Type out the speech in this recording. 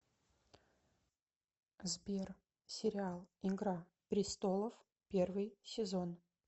сбер сериал игра престолов первый сезон